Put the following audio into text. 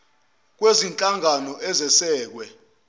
sangasese kwezinhlangano ezesekwe